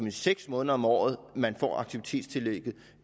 i seks måneder om året man får aktivitetstillægget